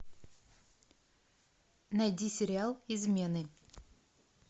найди сериал измены